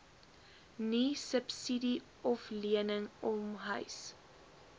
niesubsidie oflening omhuis